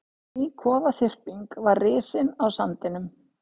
Ný kofaþyrping var risin á sandinum.